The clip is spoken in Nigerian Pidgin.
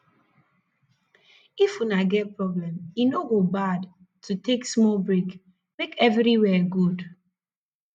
if una get problem e no go bad to take smal brake mek everiwia gud